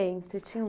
Você tinha